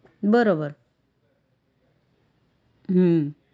બરોબર હમ